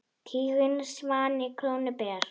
Tiginn svanni krónu ber.